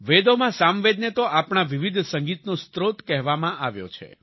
વેદોમાં સામવેદ ને તો આપણા વિવિધ સંગીતનો સ્ત્રોત કહેવામાં આવ્યો છે